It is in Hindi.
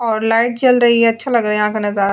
और लाइट चल रही है अच्छा लग रहा है यहां का नजारा।